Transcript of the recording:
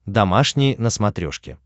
домашний на смотрешке